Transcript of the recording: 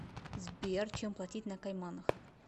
сбер чем платить на кайманах